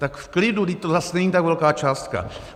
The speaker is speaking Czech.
Tak v klidu, vždyť to zas není tak velká částka.